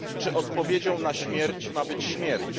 Czy odpowiedzią na śmierć ma być śmierć?